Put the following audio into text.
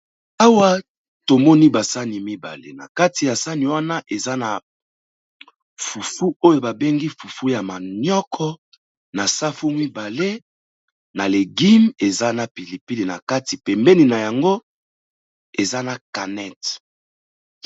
Awa tomoni ba sani mibale, na kati ya sani wana eza na fufu oyo ba bengi fufu ya manioko. Na safu mibale, na legume, eza na pili pili, na kati pembeni na yango eza na canette.